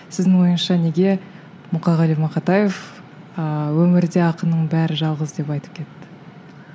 сіздің ойыңызша неге мұқағали мақатаев ыыы өмірде ақынның бәрі жалғыз деп айтып кетті